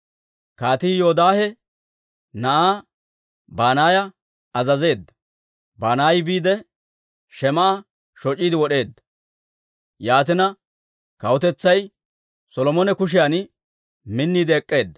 Kaatii Yoodaahe na'aa Banaaya azazeedda; Banaayi biide, Shim"a shoc'iide wod'eedda. Yaatina, kawutetsay Solomone kushiyan minniide ek'k'eedda.